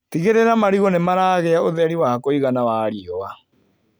Tigĩrĩra marigũ nĩmaragĩa ũtheri wa kũigana wa riua.